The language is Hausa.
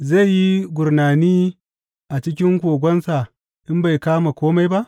Zai yi gurnani a cikin kogonsa in bai kama kome ba?